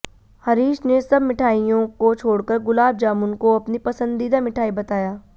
हरीश ने सब मिठाइयों को छोड़कर गुलाब जामुन को अपनी पसंदीदा मिठाई बताया